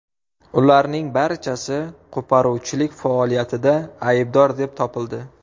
Ularning barchasi qo‘poruvchilik faoliyatida aybdor deb topildi.